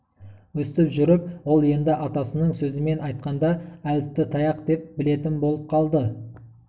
өстіп жүріп ол енді атасының сөзімен айтқанда әліпті таяқ деп білетін болып қалды